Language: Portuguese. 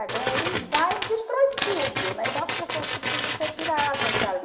Então ele vai e destrói tudo, né, então as pessoas precisam ser tiradas dali.